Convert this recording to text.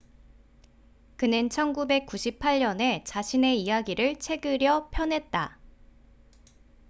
그는 1998년에 자신의 이야기를 책으려 펴냈다